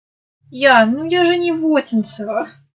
я ну я же не в отинцово